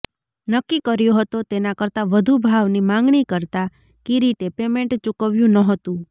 નક્કી કર્યો હતો તેના કરતા વધુ ભાવની માંગણી કરતા કિરીટે પેમેન્ટ ચુકવ્યું ન્હોતું